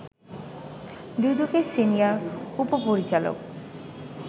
দুদকের সিনিয়র উপ-পরিচালক